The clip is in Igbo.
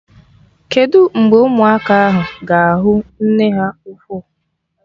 Kedụ mgbe ụmụaka ahụ ga-ahụ nne ha ukwu?